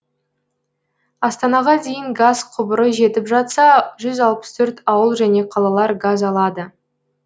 астанаға дейін газ құбыры жетіп жатса жүз алпыс төрт ауыл және қалалар газ алады